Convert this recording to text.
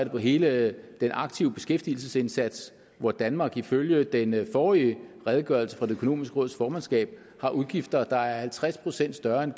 hele den aktive beskæftigelsesindsats hvor danmark ifølge den forrige redegørelse fra det økonomiske råds formandskab har udgifter der er halvtreds procent større end